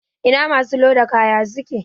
Ina masu loda kaya suke?